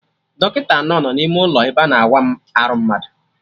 Dọkịta anọ no n'ime ụlọ ebe ana awa arụ mmadụ